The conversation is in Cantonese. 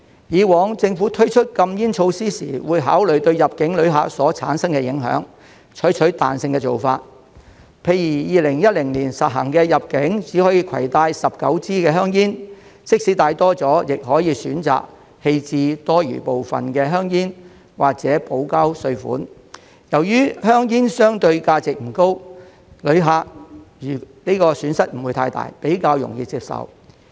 過往政府推出禁煙措施時會考慮對入境旅客所產生的影響，採取彈性的做法，例如2010年實行入境只可以攜帶19支香煙，即使多帶了，亦可以選擇棄置多餘部分的香煙或補交稅款，由於香煙相對價值不高，旅客的損失不大，比較容易接受。